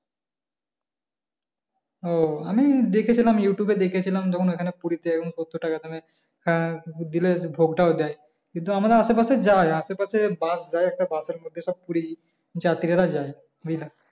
ও আমি দেখেছিলাম ইউটিউবে দেখেছিলাম তখন ওখানে পুরি তে সত্তর টাকার দামে হ্যাঁ দিলে ভোগ টাও দেয় কিন্তু আমরা আশেপাশে যাই আশেপাশে bus যায় একটা bus এর মধ্যে সব পুরি যাত্রীরা যায়